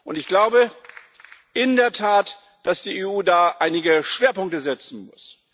Und ich glaube in der Tat, dass die EU da einige Schwerpunkte setzen muss.